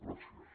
gràcies